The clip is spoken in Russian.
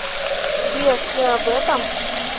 сбер ты об этом